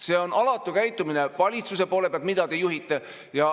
See on alatu käitumine valitsuse poolt, mida te juhite.